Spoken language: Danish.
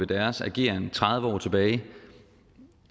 deres ageren tredive år tilbage